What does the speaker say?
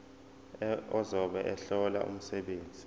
ozobe ehlola umsebenzi